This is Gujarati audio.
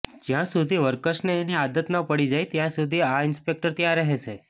જ્યાં સુધી વર્કર્સને એની આદત ન પડી જાય ત્યાં સુધી આ ઇન્સ્પેક્ટર ત્યાં રહેશે